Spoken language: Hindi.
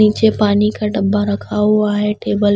नीचे पानी का डब्बा रखा हुआ है टेबल --